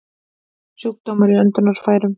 Sjúkdómar í öndunarfærum